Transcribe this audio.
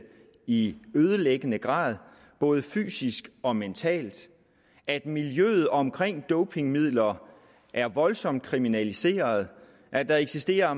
i ødelæggende grad både fysisk og mentalt at miljøet omkring dopingmidler er voldsomt kriminaliseret og at der eksisterer